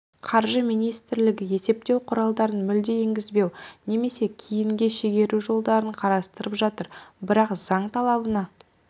қаржы министрлігі есептеу құралдарын мүлде енгізбеу немесе кейінге шегеру жолдарын қарастырып жатыр бірақ заң талабына